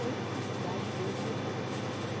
Hoje é uma cidade mesmo boa.